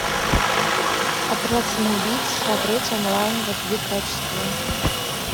отряд самоубийц смотреть онлайн в эйч ди качестве